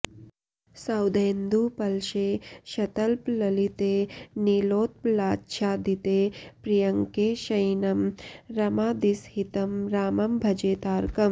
सौधेन्दूपलशेषतल्पललिते नीलोत्पलाच्छादिते पर्यङ्के शयिनं रमादिसहितं रामं भजे तारकम्